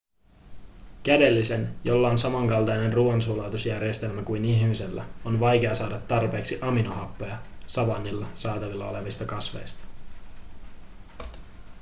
kädellisen jolla on samankaltainen ruoansulatusjärjestelmä kuin ihmisellä on vaikea saada tarpeeksi aminohappoja savannilla saatavilla olevista kasveista